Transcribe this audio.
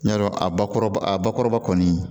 N y'a dɔn a bakuruba a bakɔrɔba kɔni